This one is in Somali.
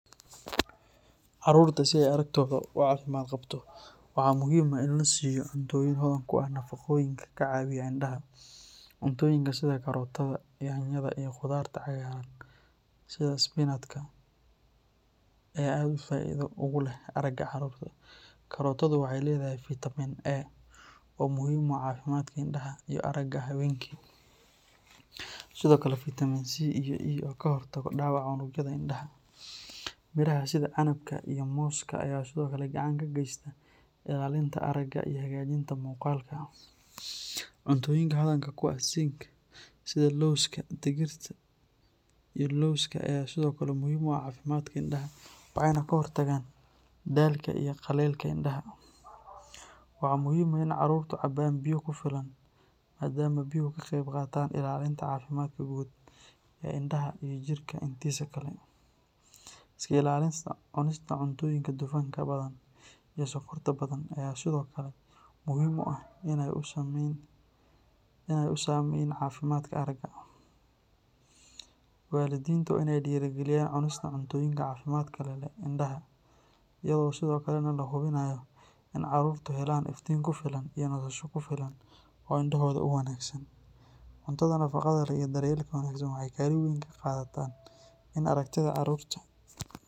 Caruurta si ay aragtooda u caafimaad qabto waxaa muhiim ah in la siiyo cuntooyin hodan ku ah nafaqooyinka ka caawiya indhaha. Cuntooyinka sida karootada, yaanyada, iyo khudaarta cagaaran sida spinatka ayaa aad faa’iido ugu leh aragga caruurta. Karootadu waxay leedahay fitamiin A oo muhiim u ah caafimaadka indhaha iyo aragga habeenkii, sidoo kale fitamiin C iyo E oo ka hortaga dhaawaca unugyada indhaha. Miraha sida canabka iyo mooska ayaa sidoo kale gacan ka geysta ilaalinta aragga iyo hagaajinta muuqaalka. Cuntooyinka hodanka ku ah zinc sida lawska, digirta, iyo lowska ayaa sidoo kale muhiim u ah caafimaadka indhaha, waxayna ka hortagaan daalka iyo qallaylka indhaha. Waxaa muhiim ah in caruurtu cabaan biyo ku filan maadaama biyuhu ka qayb qaataan ilaalinta caafimaadka guud ee indhaha iyo jidhka intiisa kale. Iska ilaalinta cunista cuntooyinka dufanka badan iyo sonkorta badan ayaa sidoo kale muhiim ah si aanay u saameyn caafimaadka aragga. Waalidiinta waa inay dhiirrigeliyaan cunista cuntooyinka caafimaadka leh ee indhaha, iyadoo sidoo kalena la hubinayo in caruurtu helaan iftiin ku filan iyo nasasho ku filan oo indhahooda u wanaagsan. Cuntada nafaqada leh iyo daryeelka wanaagsan waxay kaalin weyn ka qaataan in aragtida caruurta.